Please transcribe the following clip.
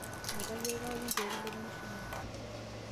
Enkia aai kaoomon pee kilepunye shumata